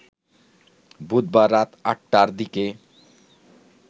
বুধবার রাত আট টার দিকে